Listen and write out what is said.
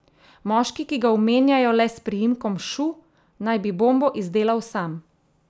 Moški, ki ga omenjajo le s priimkom Šu, naj bi bombo izdelal sam.